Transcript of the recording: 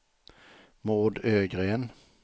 Maud Ögren